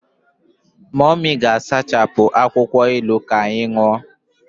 Mummy ga-asachapụ akwụkwọ ilu ka anyị ṅụọ.